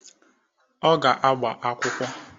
Ọ ga-agba akwụkwọ.